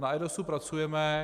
Na eIDASu pracujeme.